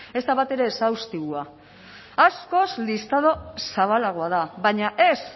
ez da batere exhaustiboa askoz listado zabalagoa da baina ez